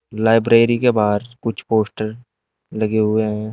Library के बाहर कुछ पोस्टर लगे हुए हैं।